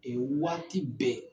O ye waati bɛɛ